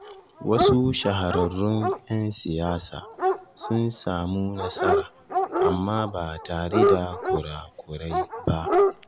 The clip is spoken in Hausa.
Wasu shahararrun 'yan siyasa sun samu nasara, amma ba tare da kura-kurai ba.